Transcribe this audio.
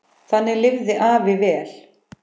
Þannig lifði afi vel.